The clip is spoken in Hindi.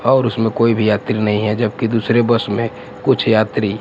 और उसमें कोई भी यात्री नहीं है जबकी दूसरे बस में कुछ यात्री--